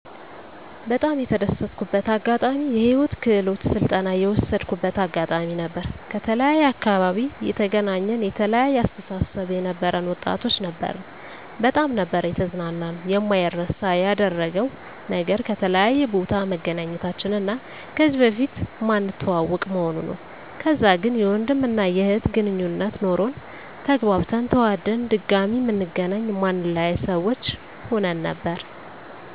በጣም የተደሰትኩበት አጋጣሚ የህይወት ክህሎት ስልጠና የወሰድኩበት አጋጣሚ ነበር። ከተለያየ አካባቢ የተገናኘን የተለያየ አስተሳሰብ የነበረን ወጣቶች ነበርን በጣም ነበር የተዝናናነው። የማይረሳ ያደረገው ነገር ከተለያየ ቦታ መገናኘታችን እና ከዚህ በፊት ማንተዋወቅ መሆኑ ነው። ከዛ ግን የወንድም እና የእህት ግነኙነት ኖሮን ተግባብተን ተዋደን ድጋሚ ምንገናኝ ማንለያይ ሰዎች ሁን ነበር